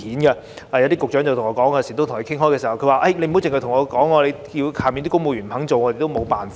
我與一些局長討論時，他們告訴我："不要只跟我說，屬下的公務員不肯做，我們也沒有辦法。